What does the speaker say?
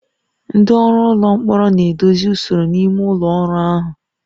Ndị ọrụ ụlọ mkpọrọ na-edozi usoro n'ime ụlọ ọrụ ahụ